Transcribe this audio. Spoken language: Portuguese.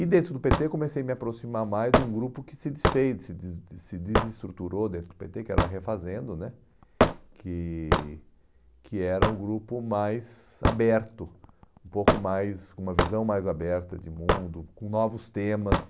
E dentro do pê tê comecei a me aproximar mais de um grupo que se desfez se deses se desestruturou dentro do pê tê, que era Refazendo né, que que era um grupo mais aberto, um pouco mais, com uma visão mais aberta de mundo, com novos temas.